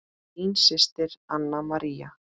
Þín systir, Anna María.